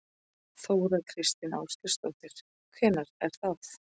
Þóra Kristín Ásgeirsdóttir: Hvenær er það?